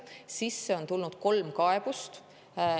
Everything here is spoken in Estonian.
Sisse on tulnud kolm kaebust.